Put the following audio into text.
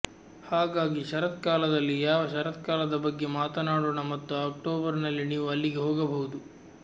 ಹಾಗಾಗಿ ಶರತ್ಕಾಲದಲ್ಲಿ ಯಾವ ಶರತ್ಕಾಲದ ಬಗ್ಗೆ ಮಾತನಾಡೋಣ ಮತ್ತು ಅಕ್ಟೋಬರ್ನಲ್ಲಿ ನೀವು ಅಲ್ಲಿಗೆ ಹೋಗಬಹುದು